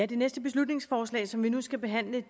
det næste beslutningsforslag som vi nu skal behandle